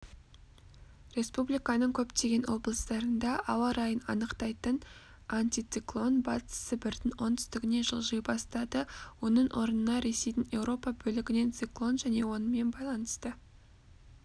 республиканың көптеген облыстарында ауа райын анықтайтын антициклон батыс сібірдің оңтүстігіне жылжи бастады оның орнына ресейдің еуропа бөлігінен циклон және онымен байланысты